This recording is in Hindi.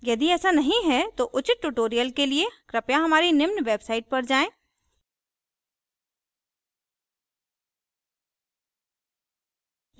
यदि ऐसा नहीं है तो उचित tutorials के लिए कृपया हमारी निम्न website पर जाएँ